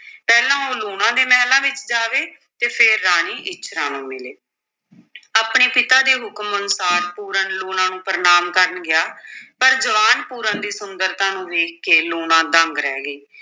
ਪਹਿਲਾਂ ਉਹ ਲੂਣਾ ਦੇ ਮਹਿਲਾਂ ਵਿੱਚ ਜਾਵੇ ਅਤੇ ਫਿਰ ਰਾਣੀ ਇੱਛਰਾਂ ਨੂੰ ਮਿਲੇ ਆਪਣੇ ਪਿਤਾ ਦੇ ਹੁਕਮ ਅਨੁਸਾਰ ਪੂਰਨ ਲੂਣਾਂ ਨੂੰ ਪ੍ਰਣਾਮ ਕਰਨ ਗਿਆ ਪਰ ਜਵਾਨ ਪੂਰਨ ਦੀ ਸੁੰਦਰਤਾ ਨੂੰ ਵੇਖ ਕੇ ਲੂਣਾ ਦੰਗ ਰਹਿ ਗਈ।